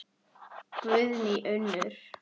Guðný Unnur.